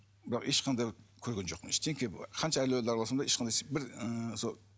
бірақ ешқандай бір көрген жоқпын ештеңке қанша әулие араласам да ешқандай бір